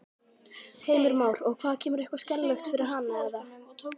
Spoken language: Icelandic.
Heimir Már: Og hvað kemur eitthvað skelfilegt fyrir hana eða?